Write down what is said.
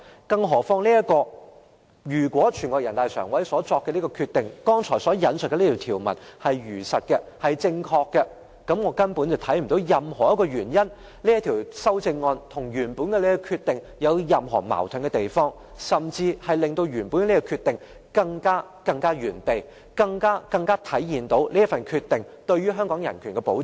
更何況，如果人大常委會所作的決定，即我剛才引述的內容，是如實和正確的話，我根本看不到這項修正案與原本的決定有任何矛盾之處，反而可以令原本的決定更完善，以及更能體現這個決定對香港人權的保障。